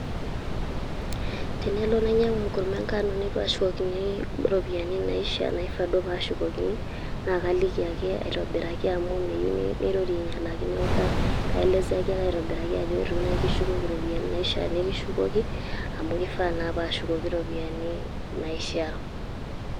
Tenelo nainyang'u enkurma enkano neitu ashukokini iropiyiani naishaa, naifaa duo pashukokini, na kaliki ake aitobiraki amu meyieu nirorie ainyalaki. Neeku kaeleseaki ake aitobiraki ajo eitu nai kishukoki iropiyiani naishaa nikishukoki, amu kidaa naa nashukoki iropiyiani naishaa.